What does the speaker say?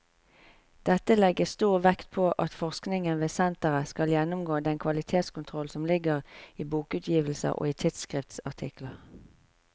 Dette legges stor vekt på at forskningen ved senteret skal gjennomgå den kvalitetskontroll som ligger i bokutgivelser og i tidsskriftsartikler.